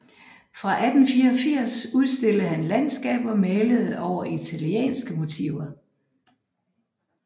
Fra 1884 udstillede han landskaber malede over italienske motiver